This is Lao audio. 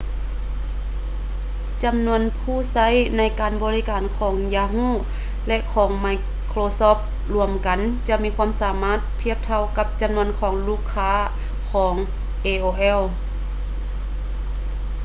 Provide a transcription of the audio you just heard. ຈຳນວນຜູ້ໃຊ້ການບໍລິການຂອງ ຢາຮູ yahoo! ແລະ ຂອງ ໄມໂຄຼຊອບທ໌ ລວມກັນຈະມີຄວາມສາມາດທຽບເທົ່າກັບ ຈຳນວນລູກຄ້າຂອງ aol